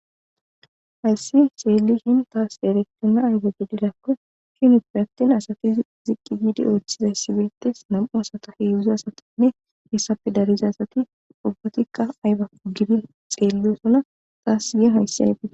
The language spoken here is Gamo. Hayssi seelishin taas erektinna ayba gididakko hinuppe attin asati ziqqi yiidi ooththizay sibeetes nam'u asata heedzdzu asatinne hissape dariza asati ubbatikka ayba ugidin xeelliyosona taas yeen hayssi aybiie